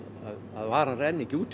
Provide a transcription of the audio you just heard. varan renni ekki út